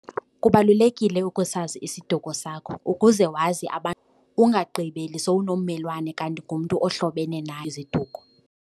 Kubalulekile ukusazi isiduko sakho ukuze wazi ungagqibeli sowunommelwane kanti ngumntu ohlobene naye iziduko.